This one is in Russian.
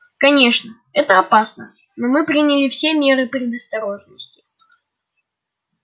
конечно это опасно но мы приняли все меры предосторожности